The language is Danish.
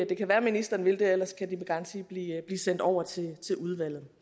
det kan være ministeren vil det ellers kan de med garanti blive sendt over til udvalget det